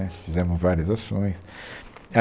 Né, Fizemos várias ações. A